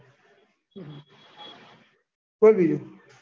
બોલ બીજું.